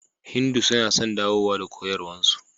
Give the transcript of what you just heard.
Hindu suna son dawowa da koyarwarsu.